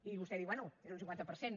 i vostè diu bé és un cinquanta per cent